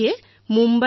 এয়াই লোকতন্ত্ৰ